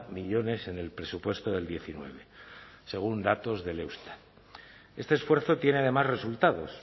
millónes en el presupuesto del diecinueve según datos del eustat este esfuerzo tiene además resultados